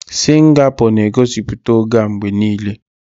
Ogige obodo Singapor ga na egosipụta oge a mgbe niile.